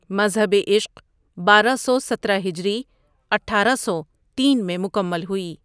مذہبِ عشق بارہ سو سترہ ہجری اٹھارہ سو تین میں مکمل ہوئی ۔